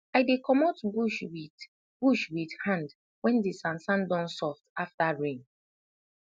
i dey comot bush wit bush wit hand wen de sansan don soft afta rain